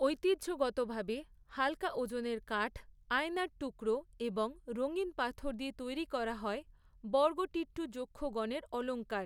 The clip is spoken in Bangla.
ঐতিহ্যগতভাবে, হালকা ওজনের কাঠ, আয়নার টুকরো এবং রঙিন পাথর দিয়ে তৈরি করা হয়, বড়গুটিট্টু যক্ষগনের অলঙ্কার।